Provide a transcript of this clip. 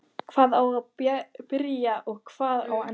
Hvar á að byrja og hvar á að enda?